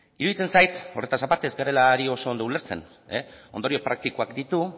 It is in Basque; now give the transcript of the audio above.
iruditzen zait horretaz aparte ez garela ari oso ondo ulertzen ondorio praktikoak ditu